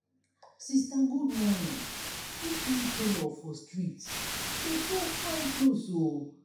sista good morning dis new tailor for street dey sew fine clothes um o. um